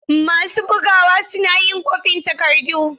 Masu bugawa suna yin kwafin takardu.